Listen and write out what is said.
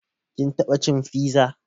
Kin taɓa cin fiza?